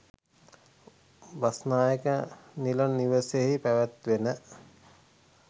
බස්නායක නිල නිවසෙහි පැවැත්වෙන